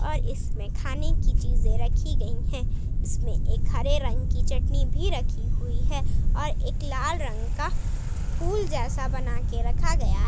पर इसमें खाने की चीज रखी गई है इसमें एक हरे रंग की चटनी भी रखी हुई है और एक लाल रंग का फूल जैसा बना के रखा गया है।